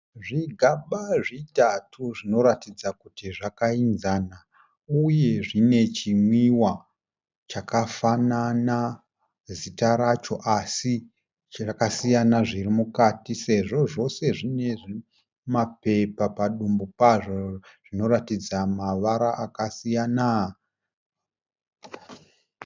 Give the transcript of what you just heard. Zvigaba zvitatu zvinoratidza kuti zvakainzana uye zvine chimwiwa chakafanana zita racho asi chakasiyana zviri mukati sezvo zvose zvine mapepa padumbu pazvo zvinoratidza mavara akasiyana.